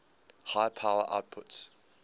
high power outputs